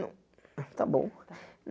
Não, está bom. Tá